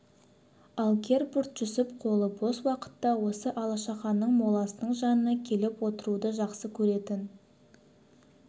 ал гербурт-жүсіп қолы бос уақытта осы алашаханның моласының жанына келіп отыруды жақсы көретін